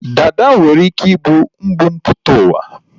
Dada nwere ike ị bụ mbumputauwa